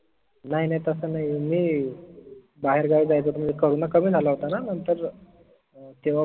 नाई नाई तस नाई मी बाहेर गावी जायचं होत corona कमी झाला होता ना नंतर तेव्हा